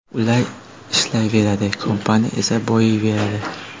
Ular ishlayveradi, kompaniya esa boyiyveradi.